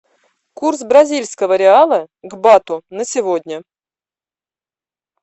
курс бразильского реала к бату на сегодня